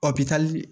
O bi taa di